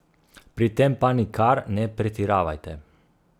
Pri tem pa nikar ne pretiravajte.